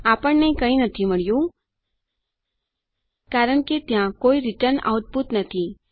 આપણને કંઈ મળ્યું નથી કારણ કે ત્યાં કોઈ રીટર્ન આઉટપુટ નથી